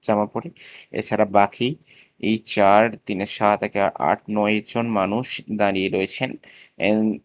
জামা পড়ে এছাড়া বাকি এই চার তিনে সাত একে আট নয় জন মানুষ দাঁড়িয়ে রয়েছেন অ্যান --